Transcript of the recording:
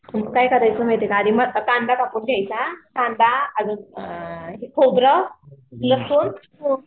काय करायचं माहिती का आधी मोठा कांदा कापून घ्यायचा. कांडा आणि अ खोबरं लसूण